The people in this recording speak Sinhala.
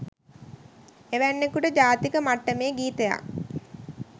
එවැන්කුට ජාතික මට්ටමේ ගීතයක්